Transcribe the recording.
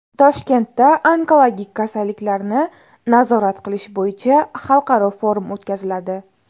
Toshkentda onkologik kasalliklarni nazorat qilish bo‘yicha xalqaro forum o‘tkaziladi.